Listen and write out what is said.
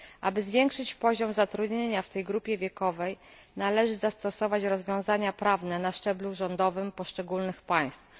Aby zwiększyć poziom zatrudnienia w tej grupie wiekowej należy zastosować rozwiązania prawne na szczeblu rządowym w poszczególnych państwach.